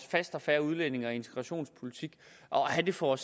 faste og fair udlændinge og integrationspolitik og have den for